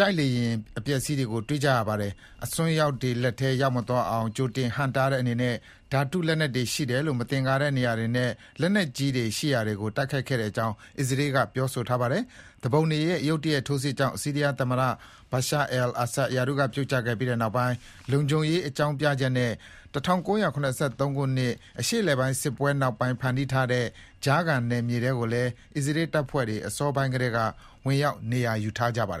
တိုက်လေယာဉ်တွေ ပျက်စီးနေတာကို တွေ့ကြရတာပါ။ အစွန်းရောက်တွေလက်ထဲ ရောက်မသွားအောင် ကြိုတင်ဟန့်တားတဲ့အနေနဲ့ ဓာတုလက်နက်တွေ ရှိတယ်လို့ မသင်္ကာတဲ့ နေရာတွေနဲ့ လက်နက်ကြီးတွေ ရှိရာနေရာတွေကို တိုက်ခိုက်ခဲ့ကြောင်း အစ္စရေးက ပြောဆိုထားပါတယ်။ သူပုန်တွေရဲ့ ရုတ်တရက် ထိုးစစ်ကြောင့် ဆီးရီးယားသမ္မတ Bashar Assad ရာထူးကပြုတ်ကျခဲ့ပြီး နောက်ပိုင်း လုံခြုံရေးအကြောင်းပြချက်နဲ့ ၁၉၇၃ ခုနှစ် အရှေ့အလယ်ပိုင်းစစ်ပွဲနောက်ပိုင်း ဖန်တီး ထားတဲ့ ကြားခံနယ်မြေထဲကိုလည်း အစ္စရေးတပ်ဖွဲ့တွေ အစောပိုင်းမှာကတည်းက ဝင်ရောက် နေရာယူထားကြပါတယ်